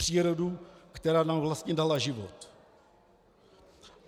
Přírodu, která nám vlastně dala život.